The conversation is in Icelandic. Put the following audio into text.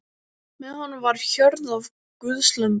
Með honum var hjörð af guðslömbum.